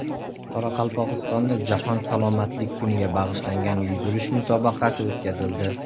Qoraqalpog‘istonda Jahon salomatlik kuniga bag‘ishlangan yugurish musobaqasi o‘tkazildi.